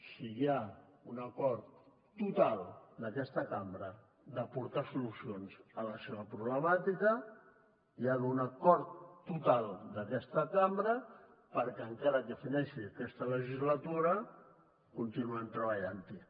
si hi ha un acord total d’aquesta cambra d’aportar solucions a la seva problemàtica hi ha d’haver un acord total d’aquesta cambra perquè encara que fineixi aquesta legislatura continuem treballant hi